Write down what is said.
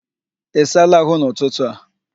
Ị saala ahụ n'ụtụtụ a?